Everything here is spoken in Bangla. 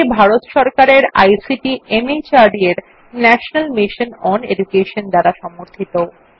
এটি ভারত সরকারের আইসিটি মাহর্দ এর ন্যাশনাল মিশন ওন এডুকেশন দ্বারা সমর্থিত